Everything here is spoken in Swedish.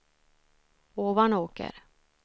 Ovanåker